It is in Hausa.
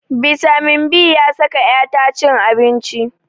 Bitamin b ya saka 'ya ta cin abinci.